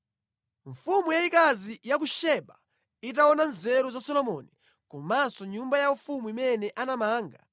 Mfumu yayikazi ya ku Seba itaona nzeru za Solomoni komanso nyumba yaufumu imene anamanga,